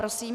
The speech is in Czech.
Prosím.